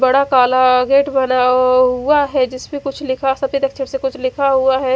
बड़ा काला गेट बना हुआ है जिसमे कुछ लिखा सफ़ेद अक्षर से कुछ लिखा हुआ है ।